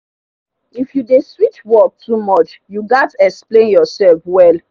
if you dey switch work too much you gats explain yourself well.